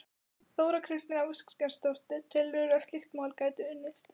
Þóra Kristín Ásgeirsdóttir: Telurðu að slíkt mál gæti unnist?